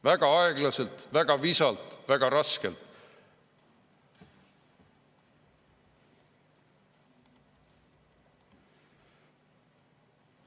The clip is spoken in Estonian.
Väga aeglaselt, väga visalt, väga raskelt.